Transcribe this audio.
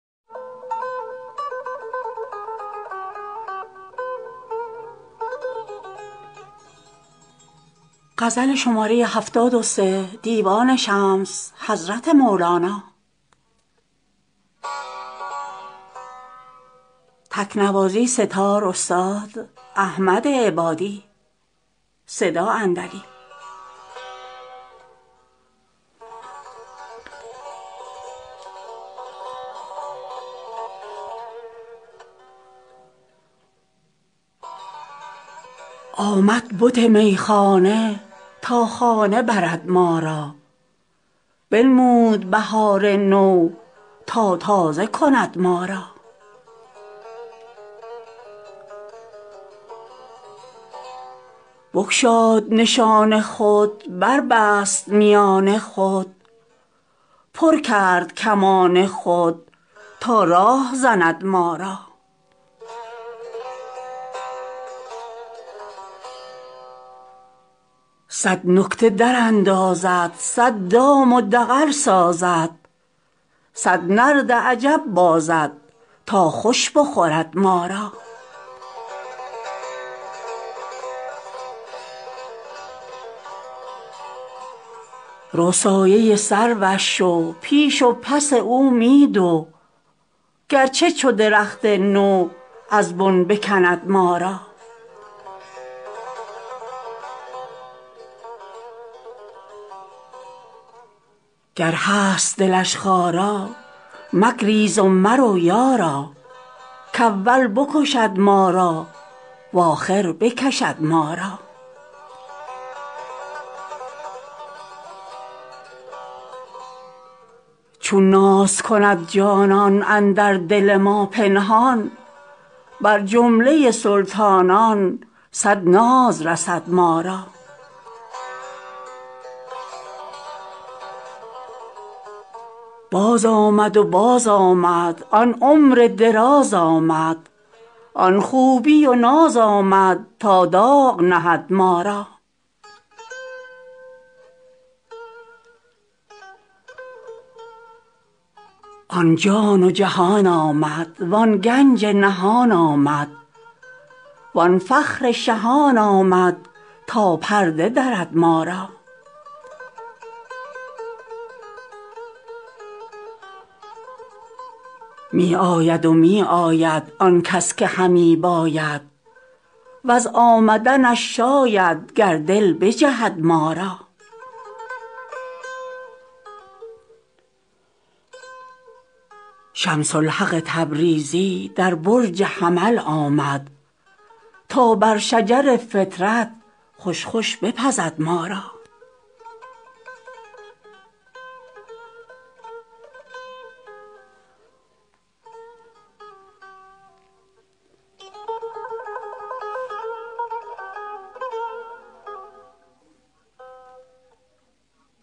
آمد بت میخانه تا خانه برد ما را بنمود بهار نو تا تازه کند ما را بگشاد نشان خود بربست میان خود پر کرد کمان خود تا راه زند ما را صد نکته دراندازد صد دام و دغل سازد صد نرد عجب بازد تا خوش بخورد ما را رو سایه سروش شو پیش و پس او می دو گرچه چو درخت نو از بن بکند ما را گر هست دلش خارا مگریز و مرو یارا کاول بکشد ما را و آخر بکشد ما را چون ناز کند جانان اندر دل ما پنهان بر جمله سلطانان صد ناز رسد ما را بازآمد و بازآمد آن عمر دراز آمد آن خوبی و ناز آمد تا داغ نهد ما را آن جان و جهان آمد وان گنج نهان آمد وان فخر شهان آمد تا پرده درد ما را می آید و می آید آن کس که همی باید وز آمدنش شاید گر دل بجهد ما را شمس الحق تبریزی در برج حمل آمد تا بر شجر فطرت خوش خوش بپزد ما را